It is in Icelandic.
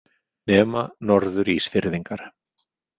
Nema Norður- Ísfirðingar.